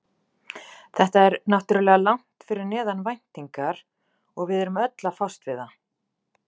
Þetta er náttúrulega langt fyrir neðan væntingar og við erum öll að fást við það.